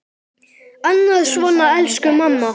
Annað svona: Elsku mamma!